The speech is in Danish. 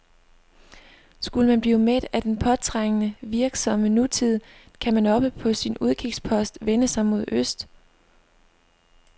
Skulle man blive mæt af den påtrængende, virksomme nutid, kan man oppe på sin udkigspost vende sig mod øst.